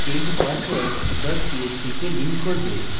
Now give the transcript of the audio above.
এটি change password dot php কে link করবে